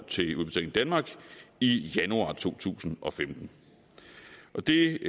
til udbetaling danmark i januar to tusind og femten det